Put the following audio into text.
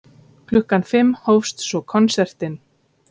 Klukkan fimm hófst svo konsertinn.